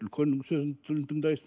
үлкеннің сөзін тыңдайсың